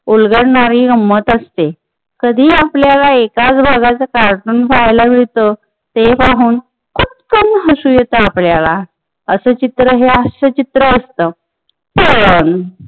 उलगडणारी गम्मत असते. कधी आपल्याला एकाच भागाचं कार्टून पाहायला मिळत ते पाहून पटकन हसू येतात आपल्याला अस चित्र हे हास्यचित्र असत पण